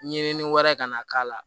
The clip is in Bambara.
Ɲinini wɛrɛ ka na k'a la